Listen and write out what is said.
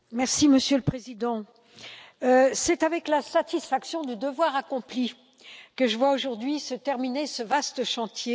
Monsieur le Président, c'est avec la satisfaction du devoir accompli que je vois aujourd'hui se terminer ce vaste chantier.